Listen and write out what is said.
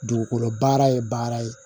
Dugukolo baara ye baara ye